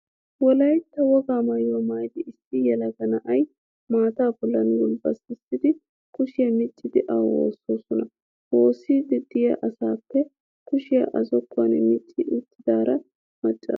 Wolayitta wogaa maayuwaa maayidi issi yelaga na'aa maataa bollan gulbbatissidi kushiyaa miccidi awu woossoosona. Woossiiddi de'iyaa asaappe kushiyaa a zokkuwan micca uttidaara macaaro.